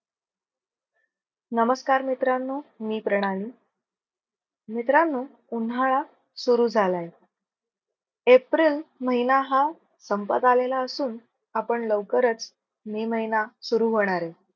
नमस्कार मित्रांनो मी प्रणाली मित्रांनो उन्हाळा सुरु झालाय एप्रिल महिना हा संपत आलेला असून आपण लौकरच मे महिना सुरु होणार आहे.